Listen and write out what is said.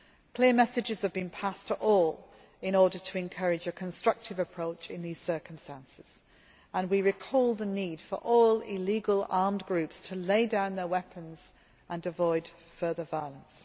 Clear messages have been passed to all in order to encourage a constructive approach in these circumstances, and we recall the need for all illegal armed groups to lay down their weapons and avoid further violence.